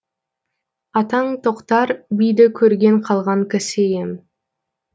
атаң тоқтар биді көрген қалған кісі ем